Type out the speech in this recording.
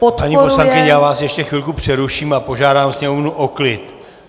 Paní poslankyně, já vás ještě chvilku přeruším a požádám sněmovnu o klid.